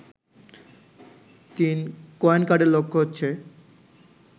৩. Coin কার্ডের লক্ষ্য হচ্ছে